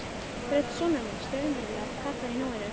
Rödd sonar míns, raunveruleg, kallar í núinu.